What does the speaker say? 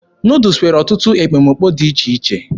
Nuudus nwere ọtụtụ ekpomekpo dị iche iche.